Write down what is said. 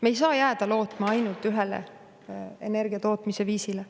Me ei saa jääda lootma ainult ühele energia tootmise viisile.